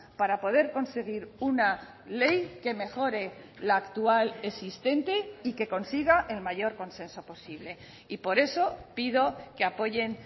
para poder conseguir una ley que mejore la actual existente y que consiga el mayor consenso posible y por eso pido que apoyen